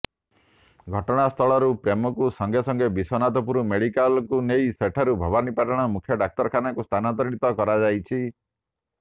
ଘଟଣା ସ୍ଥଳରୁ ପ୍ରେମକୁ ସାଙ୍ଗେ ସାଙ୍ଗେ ବିଶ୍ୱନାଥପୁର ମେଡିକାଲ ନେଇ ସେଠାରୁ ଭବାନୀପାଟଣା ମୁଖ୍ୟ ଡାକ୍ତରଖାନାକୁ ସ୍ଥାନାନ୍ତରିତ କରାଯାଇଥିଲା